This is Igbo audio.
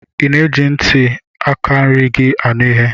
Ị na-eji ntị aka nri gị anụ ihe?